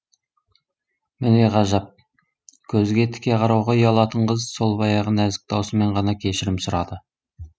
міне ғажап көзге тіке қарауға ұялатын қыз сол баяғы нәзік даусымен ғана кешірім сұрады